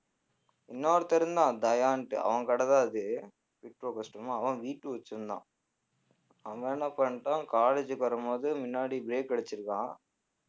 இன்னொருத்தன் இருந்தான் தயான்னுட்டு அவன் கடைதான் அது ஃபிட்ப்ரோ கஸ்டம் அவன் Vtwo வச்சிருந்தான் அவன் என்ன பண்ணிட்டான் college க்கு வரும்போது முன்னாடி brake அடிச்சிருக்கான்